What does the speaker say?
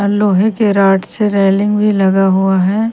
लोहे के रॉड से रेलिंग भी लगा हुआ है।